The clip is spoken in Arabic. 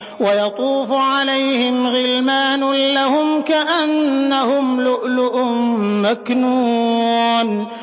۞ وَيَطُوفُ عَلَيْهِمْ غِلْمَانٌ لَّهُمْ كَأَنَّهُمْ لُؤْلُؤٌ مَّكْنُونٌ